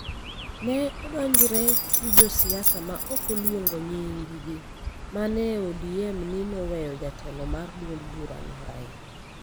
ne odonjre gi josiasa ma ok oluongo nying-gi man e ODM ni noweyo jatelo mar duond burano Raila,